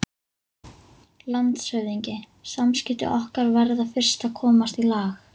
LANDSHÖFÐINGI: Samskipti okkar verða fyrst að komast í lag.